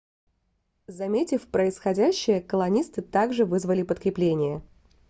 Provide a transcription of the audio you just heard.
заметив происходящее колонисты также вызвали подкрепление